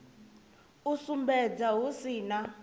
u sumbedza hu si na